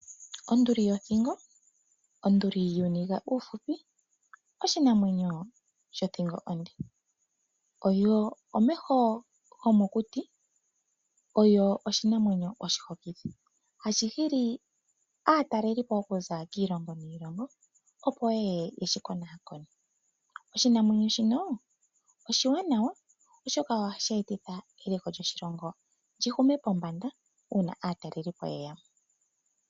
Onduli yothingo, onduli yuuniga uufupi oshinamwenyo shothingo onde. Oyo omeho gomokuti oyo oshinamwenyo oshihokithi hashi hili aataleli po okuza kondje yiilongo niilongo opo ye ye yeshi konakone. Oshinamwenyo shino oshiwanawa oshoka ohashi etitha eliko lyoshilongo li hume pombanda uuna aataleli po ye ya mo.